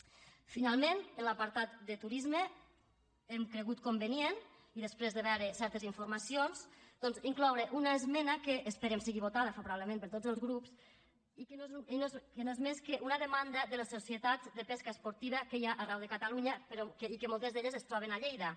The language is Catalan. finalment en l’apartat de turisme hem cregut conve·nient i després de veure certes informacions doncs incloure una esmena que esperem que sigui votada fa·vorablement per tots els grups i que no és més que una demanda de les societats de pesca esportiva que hi ha arreu de catalunya i que moltes d’elles es troben a lleida